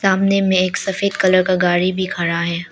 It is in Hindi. सामने में एक सफेद कलर का गाड़ी भी खड़ा है।